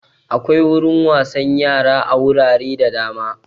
Akwai wurin wasan yara a wurare da dama